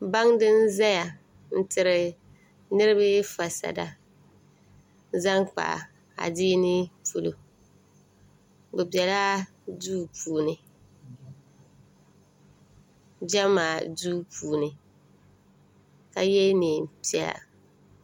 baŋdi n-zaya n-tiri niriba fasada zaŋ kpa adiini polo o bela duu puuni jɛma duu puuni ka ye neen'piɛlla